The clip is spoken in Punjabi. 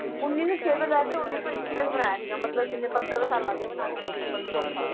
ਉੱਨੀ ਸੌ ਛੇ ਤੋਂ ਲੈ ਕੇ ਉੱਨੀ ਸੌ ਇੱਕੀ ਤੱਕ ਬਣਾਇਆ ਸੀਗਾ ਮਤਲਬ ਕਿੰਨੇ ਪੰਦਰਾਂ ਸਾਲ ਲੱਗ ਗਏ ਬਣਾਉਣ 'ਚ ਦੇਖ ਲਓ ਪੰਦਰਾਂ ਛੋਲਾਂ ਸਾਲ